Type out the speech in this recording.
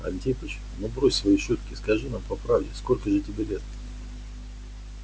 антипыч ну брось свои шутки скажи нам по правде сколько же тебе лет